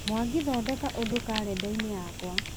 mwangi thondeka ũndũ karenda-inĩ yakwa